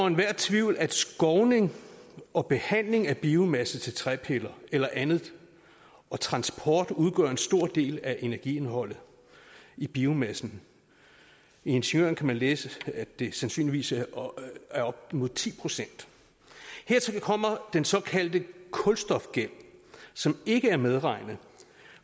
enhver tvivl at skovning og behandling af biomasse til træpiller eller andet og transport udgør en stor del af energiindholdet i biomassen i ingeniøren kan man læse at det sandsynligvis er op mod ti procent hertil kommer den såkaldte kulstofgæld som ikke er medregnet